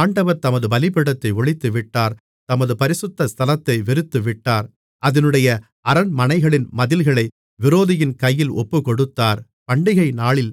ஆண்டவர் தமது பலிபீடத்தை ஒழித்துவிட்டார் தமது பரிசுத்த ஸ்தலத்தை வெறுத்துவிட்டார் அதினுடைய அரண்மனைகளின் மதில்களை விரோதியின் கையில் ஒப்புக்கொடுத்தார் பண்டிகைநாளில்